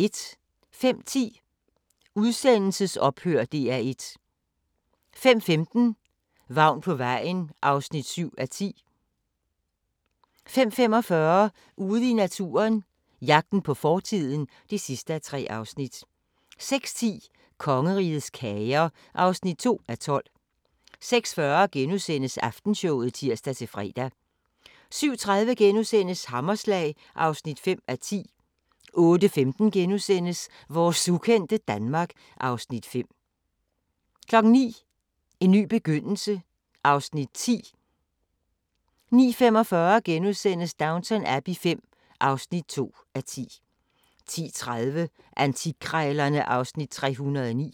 05:10: Udsendelsesophør – DR1 05:15: Vagn på vejen (7:10) 05:45: Ude i naturen – jagten på fortiden (3:3) 06:10: Kongerigets kager (2:12) 06:40: Aftenshowet *(tir-fre) 07:30: Hammerslag (5:10)* 08:15: Vores ukendte Danmark (Afs. 5)* 09:00: En ny begyndelse (Afs. 10) 09:45: Downton Abbey V (2:10)* 10:30: Antikkrejlerne (Afs. 309)